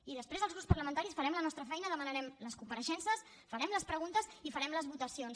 i després els grups parlamentaris farem la nostra feina demanarem les compareixences farem les preguntes i farem les votacions